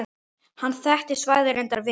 Hann þekkti svæðið reyndar vel.